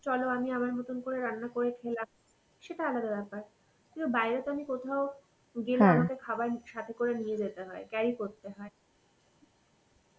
চলো আমি আমার মতন করে রান্না করে খেলাম সেটা আলাদা ব্যাপার. কিন্তু বাইরে তো আমি কোথাও গেলে আমাকে খাবার সাথে করে নিয়ে যেতে হয়, carry করতে হয়.